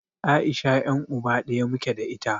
Aisha yan'uba ɗaya muke da ita.